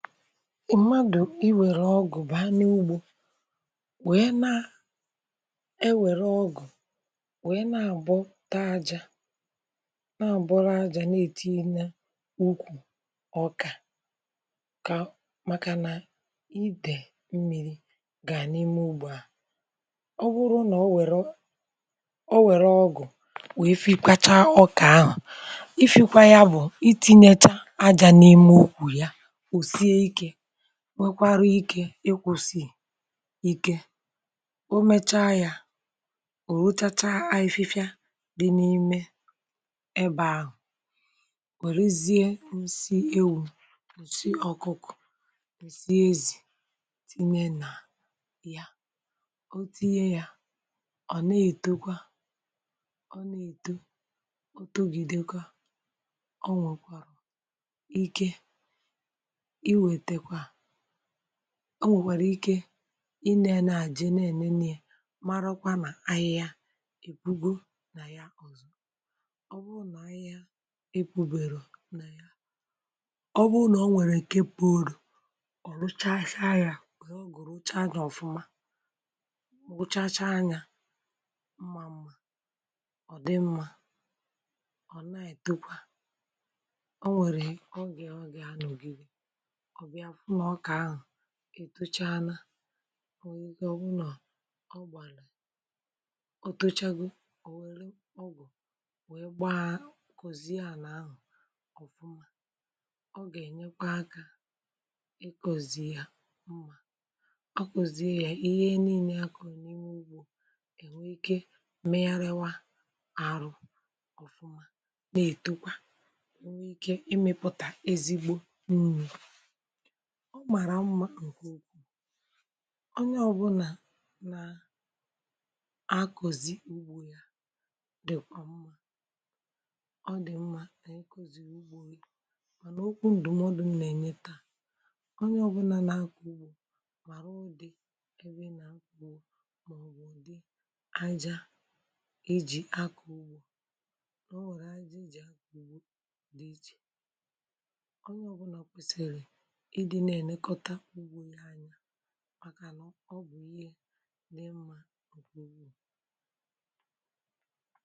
mmadụ̀ i wère ọgụ̀ bà n’ùgbò, wèe na e wère ọgụ̀, wèe na-abọ̀ taa àjà, na-abọrọ̀ àjà, na-etinye nà úkwù ọkà ka, maka na ìdè mmirì gà n’ime ùgbò à. ọ̀ bụrụ̀ nà o wèrè o, o wère ọgụ̀, wèe fị̀kwachaa ọkà ahụ̀. ìfịkwa ya bụ̀ itinye àjà n’ime úkwù ya, ọ̀ sịè ike um. nwekwara ike ịkwụ̀sị ike, ụ̀mechá ya, ụ̀rọchàchà, àyịfịfịa dị n’ime ebe ahụ̀. wèrèzie m̀si éwù, nsi ọkụ́kụ̀, nsi èzì, wèe tinye nà ya. otu ihe yà, ọ̀ na-etekwa, ọ́ na-èto, ọ̀tọ̀gìdekwa, ọ nwekwara ike o. nwèkwara ike i nėē, na-àje, na-ènèné ya, màràokwa nà ahịhịa ìkpùgò nà ya. ọ̀zọ, ọ̀ bụrụ̀ nà ahịhịa e kpubèrè, ọ nà ya. ọ̀ bụrụ̀ nà o nwèrè nke purù, ọ̀ rụchàa chà chà, yà ò nweè ogù, rụchàa gà ọ̀fụ́ma, rụchàa chà, yà mmà mmà. ọ̀ dị mmà, ọ̀ na-ètokwa. o nwèrè ogù, ọ gị, ha nọ̀gịrị́ ọbịa hụ nà ọkà ahụ̀ ètọ̀cháàna. ọ bụ̀ ihe ọ bụ̀ nọ, ọ gbànà, ọ̀tọ̀chàgò, o wèrè ọgụ̀, wèe gbàá kọ̀zì àná ahụ̀ um. ọ̀ gà-ènyekwà aka ị kọ̀zì ya mma, ọ kọ̀zìe ya, ihe niile akò n’ime ùgbò, ènwe ike megharịa arụ́ ọ̀fụ́ma. na-ètokwa, nwekwara ike imepụta ezigbo mmímí um. ọ màrà mma ǹkè ukwu. onye ọ̀bụ̀là nà-àkọ̀zi ùgbò ya dị̀kwa mma, ọ dị̀ mma nà n’ìhé kuzìrì ùgbò. mànà okwu ǹdụ̀mọdụ m nà-ènyetà onye ọ̇bụ̇là nà-àkọ̀ ùgbò: màrà ụdị ebe nà mkpù. mà ọ̀wụ̀ ndị àjà eji akọ̀ ùgbò, nà o nwèrè àjà eji. eji à-àkọ ùgbò dị, eji̇, onye ọ̀bụ̀là kwesiri̇ ị na-elekọtà ùgbò ya anya, màkà nà ọ bụ̀ ihe dị̀ mmà um